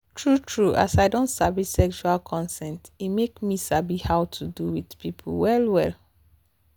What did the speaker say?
true true as i don sabi sexual consent e make me sabi how to do with people well well.